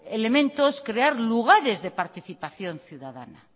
elementos crear lugares de participación ciudadana